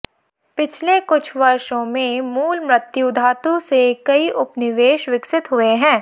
पिछले कुछ वर्षों में मूल मृत्यु धातु से कई उपनिवेश विकसित हुए हैं